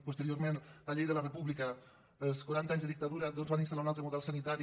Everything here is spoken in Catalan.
posteriorment la llei de la república els quaranta anys de dictadura doncs van instal·lar un altre model sanitari